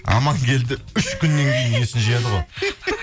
амангелді үш күннен кейін есін жияды ғой